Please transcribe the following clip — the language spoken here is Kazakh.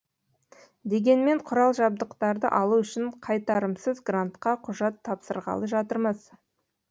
дегенмен құрал жабдықтарды алу үшін қайтарымсыз грантқа құжат тапсырғалы жатырмыз